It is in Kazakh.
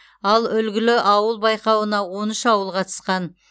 ал үлгілі ауыл байқауына он үш ауыл қатысқан